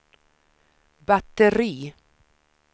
batteri